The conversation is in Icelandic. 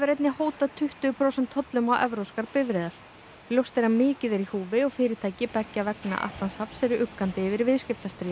einnig hótað tuttugu prósent tollum á evrópskar bifreiðar ljóst er að mikið er í húfi og fyrirtæki beggja vegna Atlantshafs eru uggandi yfir viðskiptastríði